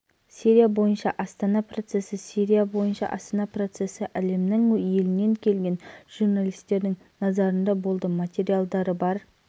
джейш әл-ислам лаңкестік тобының өкілі мұхаммед аллуш астана процесі кезіндегі үзілісте келіссөздердің тапсырмалары туралы айтты сирия